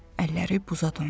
Əlləri buza döndü.